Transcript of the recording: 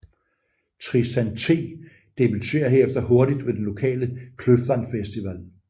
Tristan T debuterer herefter hurtigt ved den lokale Kløften Festival